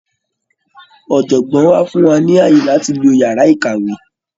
Ọ̀jọ̀gbọ́ wa fún wa ní ààyè láti lo yàrá ìkàwé.